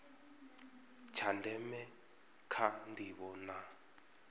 tsha ndeme kha ndivho na